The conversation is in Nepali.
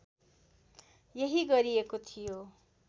यही गरिएको थियो